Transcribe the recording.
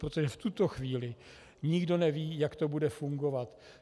Protože v tuto chvíli nikdo neví, jak to bude fungovat.